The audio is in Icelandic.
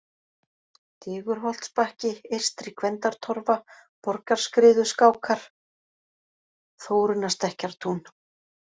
Digurholtsbakki, Eystri-Gvendartorfa, Borgarskriðuskákar, Þórunnarstekkjartún